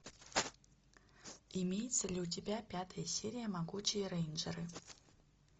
имеется ли у тебя пятая серия могучие рейнджеры